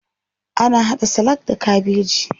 Ana haɗa salak da kabeji.